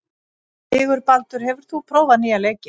Sigurbaldur, hefur þú prófað nýja leikinn?